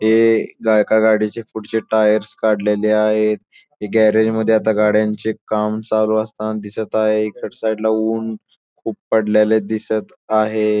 हे गायका गाडीचे पुढचे टायर्स काढलेले आहे हे गॅरेजमध्ये आता गाड्यांचे काम चालू असताना आहे इकडच्या साईडला ऊन खूप पडलेल्या दिसत आहे.